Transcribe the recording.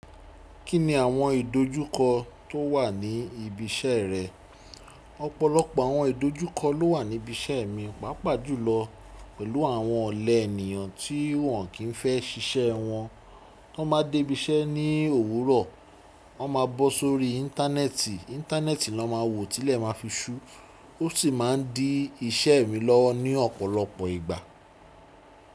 Kí ni àwọn ìdojúkọ tó wà ní ibi iṣẹ́ rẹ? Ọ̀pọ̀lọpọ̀ àwọn ìdojúkọ ló wà níbi iṣẹ́ mi, pàápàá jùlọ pẹ̀lú àwọn ọ̀lẹ ènìyàn tí wọ́n kì n fẹ́ síṣẹ́ wọn. Tí wọ́n bá dé ibi iṣẹ́ ní òwúrọ̀, wọ́n máa bọ́ sórí íńtánẹ́ẹ̀tì, íńtánẹ́ẹ̀tì ni wọ́n máa wò tilẹ̀ máa fi ṣú, ó sì máa n dí iṣẹ́ mi lọ́wọ́ ní ọ̀pọ̀lọpọ̀ ìgbà.